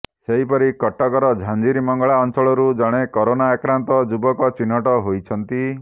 ସେହିପରି କଟକର ଝାଞ୍ଜିରିମଙ୍ଗଳା ଅଞ୍ଚଳରୁ ଜଣେ କରୋନା ଆକ୍ରାନ୍ତ ଯୁବକ ଚିହ୍ନଟ ହୋଇଛନ୍ତି